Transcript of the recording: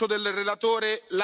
Herr Präsident!